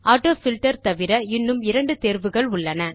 AutoFilter தவிர இன்னும் இரண்டு தேர்வுகள் உள்ளன